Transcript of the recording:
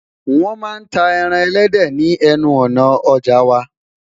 wọn má tá ẹran ẹlẹdẹ ni enu òná ọja wa